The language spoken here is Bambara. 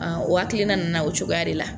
Ɔ o hakilina nanao cogoya de la.